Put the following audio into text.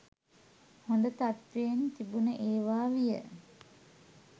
හොඳ තත්ත්වයෙන් තිබුණ ඒවා විය.